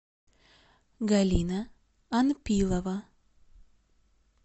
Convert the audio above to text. галина анпилова